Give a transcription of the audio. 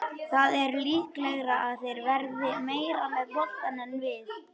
Það er líklegra að þeir verði meira með boltann en við.